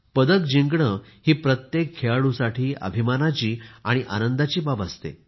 पदक जिंकण ही प्रत्येक खेळाडूसाठी अभिमानाची आणि आनंदाची बाब असते